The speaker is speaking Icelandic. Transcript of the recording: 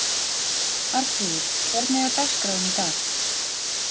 Arnfríður, hvernig er dagskráin í dag?